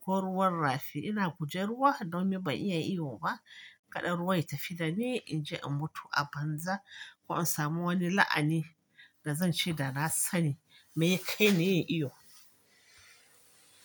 ko ruwan rafi. Ina guje ruwa domin ban iya iyo ba, kada ruwa ya tafi da ni in je in mutu a banza ko in sami wani la'ani da zan ce da na sani mai ya kai ni yin iyo.